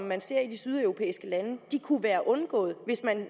man ser i de sydeuropæiske lande kunne være undgået hvis man